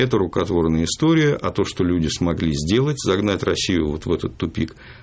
это рукотворная история а то что люди смогли сделать загнать россию вот в этот тупик